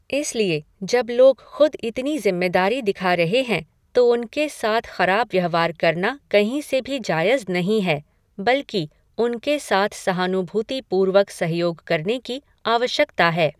इसलिए जब लोग खुद इतनी ज़िम्मेदारी दिखा रहे हैं तो उनके साथ खराब व्यवहार करना कहीं से भी जायज़ नहीं है बल्कि उनके साथ सहानूभूतिपूर्वक सहयोग करने की आवश्यकता है।